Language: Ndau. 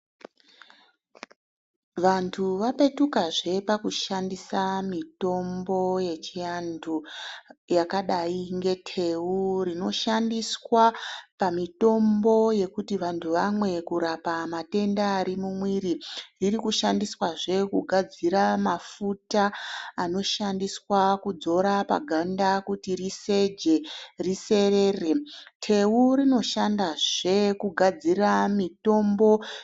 Vantu vapetuka zve paku shandisa mitombo yechiantu, yakadayi ngetewu rino shandiswa pamitombo yekuti vantu vamwe kurapa matenda ari mumwiri, iri kushandiswazve kugadzira mafuta anoshandiswa kudzora paganda kuti riseje, riserere. Tewu rino. shandazve kugadzira mitombo.